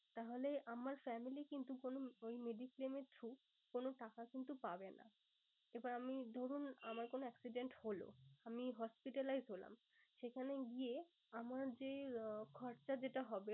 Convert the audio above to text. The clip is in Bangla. তাহলে আমার family কিন্তু কোনো ওই mediclaim এর through কোনো টাকা কিন্তু পাবে না। এবার আমি ধরুন আমার কোনো accident হলো। আমি hospitalize হলাম। সেখানে গিয়ে আমার যে খরচা যেটা হবে